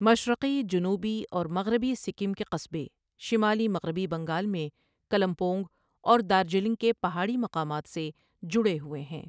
مشرقی، جنوبی اور مغربی سکم کے قصبے شمالی مغربی بنگال میں کلمپونگ اور دارجلنگ کے پہاڑی مقامات سے جڑے ہوئے ہیں۔